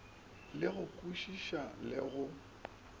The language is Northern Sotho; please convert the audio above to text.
le go kwešiša le go